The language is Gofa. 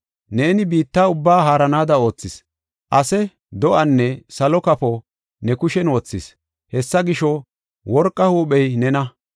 Neeni biitta ubbaa haaranaada oothis; ase, do7anne salo kafo ne kushen wothis. Hessa gisho, worqa huuphey nena.